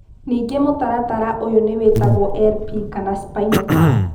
Ningĩ mũtaratara ũyũ nĩ wĩtagwo LP kana spinal tap.